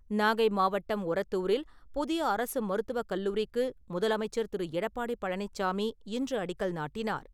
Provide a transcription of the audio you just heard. நாகை மாவட்டம் உரத்தூரில் புதிய அரசு மருத்துவக் கல்லூரிக்கு முதலமைச்சர் திரு. எடப்பாடி பழனிச்சாமி இன்று அடிக்கல் நாட்டினார்.